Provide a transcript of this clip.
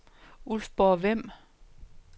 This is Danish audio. Ulfborg-Vemb